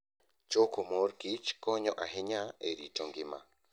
Choko mor kich konyo ahinya e rito ngima.